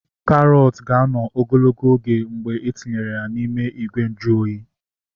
Karọt ga-anọ ogologo oge mgbe etinyere ya n'ime ìgwè nju oyi